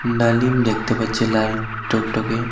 লালিম দেখতে পাচ্ছি লাল টকটকে।